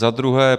Za druhé -